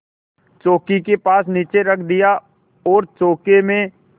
चौकी के पास नीचे रख दिया और चौके में